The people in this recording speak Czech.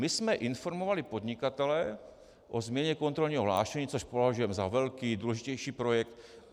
My jsme informovali podnikatele o změně kontrolního hlášení, což považujeme za velký, důležitější projekt.